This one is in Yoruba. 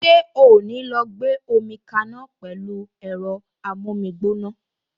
Ṣé o ò ní lọ gbómi kaná pẹ̀lú ẹ̀rọ amómígbóná!